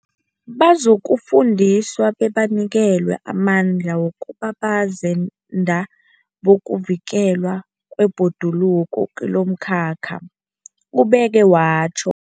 Bazokufundiswa bebanikelwe amandla wokuba bazenda bokuvikelwa kwebhoduluko kilomkhakha, ubeke watjho.